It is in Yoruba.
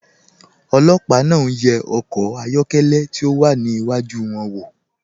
Olòpà náà n wà ọkọ̀ ayọ̀kẹlẹ̀ tí o wà níwájú wọn.